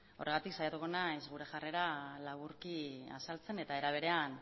horregatik saiatuko naiz gure jarrera laburki azaltzen eta era berean